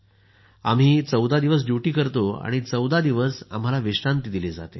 आम्ही 14 दिवस ड्युटी करतो आणि 14 दिवस आम्हाला विश्रांती दिली जाते